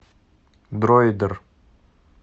дроидер